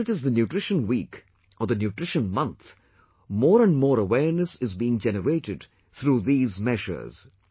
Whether it is the nutrition week or the nutrition month, more and more awareness is being generated through these measures